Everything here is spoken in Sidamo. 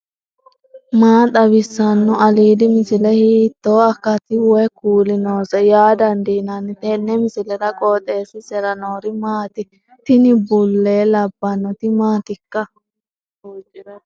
maa xawissanno aliidi misile ? hiitto akati woy kuuli noose yaa dandiinanni tenne misilera? qooxeessisera noori maati ? tini bulle labbannoti maatikka